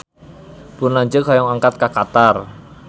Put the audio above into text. Pun lanceuk hoyong angkat ka Qatar